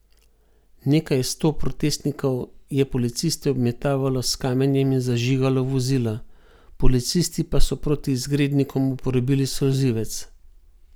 Nekaj sto protestnikov je policiste obmetavalo s kamenjem in zažigalo vozila, policisti pa so proti izgrednikom uporabili solzivec.